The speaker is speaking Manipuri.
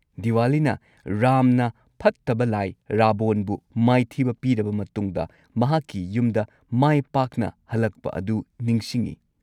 ꯗꯤꯋꯥꯂꯤꯅ ꯔꯥꯝꯅ ꯐꯠꯇꯕ ꯂꯥꯏ ꯔꯥꯕꯣꯟꯕꯨ ꯃꯥꯏꯊꯤꯕ ꯄꯤꯔꯕ ꯃꯇꯨꯡꯗ ꯃꯍꯥꯛꯀꯤ ꯌꯨꯝꯗ ꯃꯥꯏ ꯄꯥꯛꯅ ꯍꯜꯂꯛꯄ ꯑꯗꯨ ꯅꯤꯡꯁꯤꯡꯉꯤ ꯫